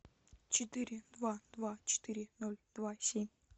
четыре два два четыре ноль два семь